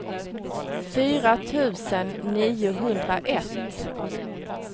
fyra tusen niohundraett